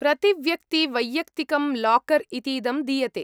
प्रतिव्यक्ति वैयक्तिकं लाकर् इतीदं दीयते।